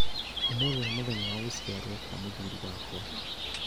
Ũmũthĩ nĩ mũthenya wa gũciarwo kwa mũthuuri wakwa